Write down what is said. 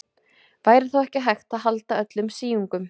Væri þá ekki hægt að halda öllum síungum.